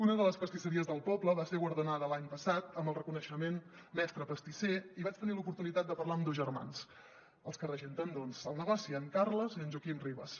una de les pastisseries del poble va ser guardonada l’any passat amb el reconeixement mestre pastisser i vaig tenir l’oportunitat de parlar amb dos germans els que regenten el negoci en carles i en joaquim ribes